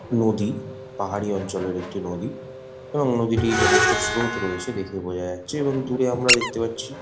নদী পাহাড়ী অঞ্চলের একটি নদী এবং নদীটির যথেষ্ট স্রোত রয়েছে দেখে বোঝা যাচ্ছে এবং দূরে আমরা দেখতে পাচ্ছি--